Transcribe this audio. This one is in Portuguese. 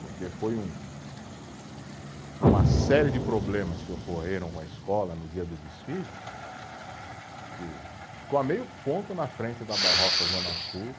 Porque foi um, uma série de problemas que ocorreram com a escola no dia do desfile, que ficou a meio ponto na frente da Barroca Zona Sul.